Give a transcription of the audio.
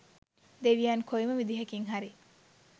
දෙවියන් කොයිම විදිහකින් හරි